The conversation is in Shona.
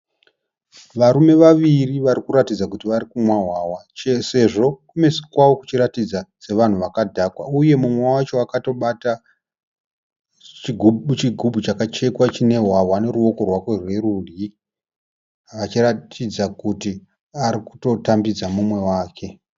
Varume vaviri varikuratidza kuti varikumwa hwahwa. Sezvo kumeso kwavo kuchiratidza sevanhu vakadhakwa. Uye múmwe wacho akatobata chigumbu chakachekwa chine hwahwa neruoko rwake rwerudyi, achiratidza kuti ari kutotambidza múmwe wake.